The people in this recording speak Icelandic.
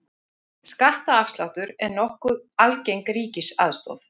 Skattaafsláttur er nokkuð algeng ríkisaðstoð.